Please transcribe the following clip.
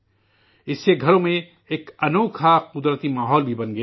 اس سے گھروں میں ایک غیر معمولی قدرتی ماحول بھی بن گیا ہے